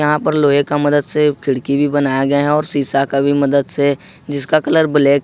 यहां पर लोहे का मदद से खिड़की भी बनाया गया और शिक्षा का भी मदद से जिसका कलर ब्लैक है।